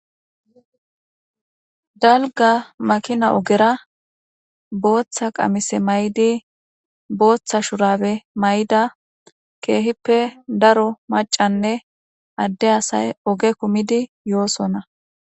Dalga makina ogera booththa qamise may7di booththa shurabe may7da keehippe daro macanne adde asay oge kumidi yoosona.